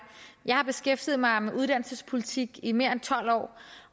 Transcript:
jeg har beskæftiget mig med uddannelsespolitik i mere end tolv år